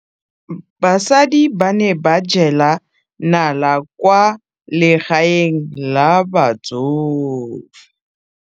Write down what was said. Basadi ba ne ba jela nala kwaa legaeng la batsofe.